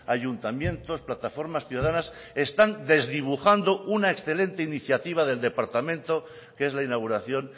ayuntamientos plataformas ciudadanas están desdibujando una excelente iniciativa del departamento que es la inauguración